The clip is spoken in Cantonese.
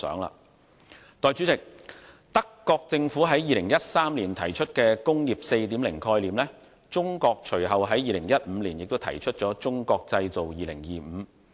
代理主席，德國政府在2013年提出"工業 4.0" 概念，而中國隨後在2015年亦提出《中國製造2025》。